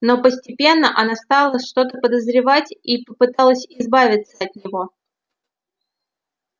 но постепенно она стала что-то подозревать и попыталась избавиться от него